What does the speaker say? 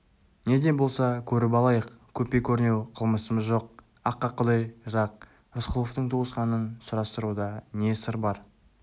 неде болса көріп алайық көпе-көрнеу қылмысымыз жоқ аққа құдай жақ рысқұловтың туысқанын сұрастыруда не сыр бар